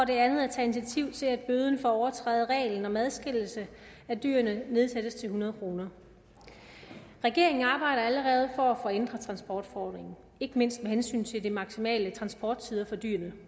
det andet at tage initiativ til at bøden for at overtræde reglen om adskillelse af dyrene nedsættes til hundrede kroner regeringen arbejder allerede for at få ændret transportforordningen ikke mindst med hensyn til de maksimale transporttider for dyrene